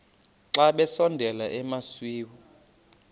xa besondela emasuie